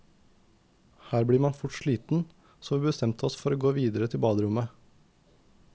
Her blir man fort sliten, så vi bestemte oss for å gå videre til baderommet.